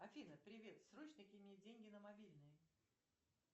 афина привет срочно кинь мне деньги на мобильный